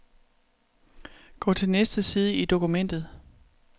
Gå til næste side i dokumentet.